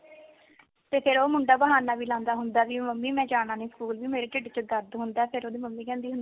ਤੇ ਫਿਰ ਉਹ ਮੁੰਡਾ ਬਹਾਨਾ ਵੀ ਲਾਉਂਦਾ ਹੁੰਦਾ ਵੀ ਮੰਮੀ ਮੈਂ ਜਾਣਾ ਨੀ ਸਕੂਲ ਵੀ ਮੇਰ ਢਿੱਡ ਚ ਦਰਦ ਹੁੰਦਾ ਫਿਰ ਉਹਦੀ ਮੰਮੀ ਕਹਿੰਦੀ ਹੁੰਦੀ ਆ